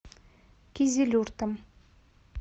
кизилюртом